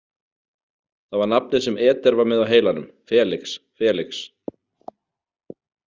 Það var nafnið sem Eder var með á heilanum, Felix, Felix.